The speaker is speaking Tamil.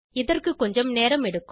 இதற்குக்கொஞ்சம் நேரம் எடுக்கும்